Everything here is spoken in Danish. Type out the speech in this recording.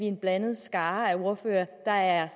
en blandet skare ordførere der er